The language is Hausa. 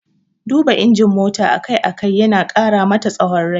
Duba injin mota a kai a kai yana ƙara masa tsawon rai.